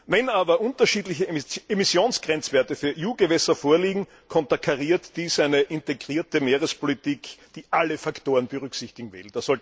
Wenn aber unterschiedliche Emissionsgrenzwerte für EU Gewässer vorliegen, konterkariert dies eine integrierte Meerespolitik, die alle Faktoren berücksichtigen will.